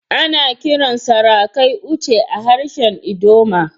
Ana kiran sarakai "Oche" a harshen ldoma.